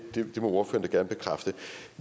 må ordføreren da gerne bekræfte